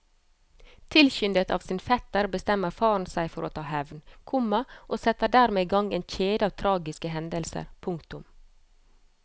Tilskyndet av sin fetter bestemmer faren seg for å ta hevn, komma og setter dermed i gang en kjede av tragiske hendelser. punktum